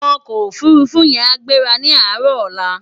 Òkò ófúrúfú yèn á gbérá ni àárò òlá